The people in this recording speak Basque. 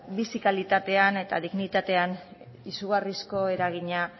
bizi kalitatean eta dignitatean izugarrizko eragina